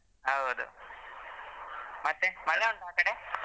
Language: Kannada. ಹೌದು ಮತ್ತೆ ಮಳೆ ಉಂಟಾ ಆಕಡೆ?